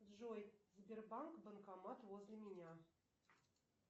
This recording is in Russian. джой сбербанк банкомат возле меня